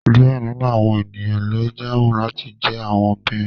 Diẹ ninu awọn eniyan lo jaamu lati jẹ awọn beams